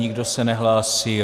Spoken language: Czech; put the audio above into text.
Nikdo se nehlásí.